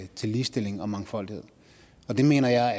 til ligestilling og mangfoldighed og det mener jeg